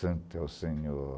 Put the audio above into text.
Santo é o Senhor.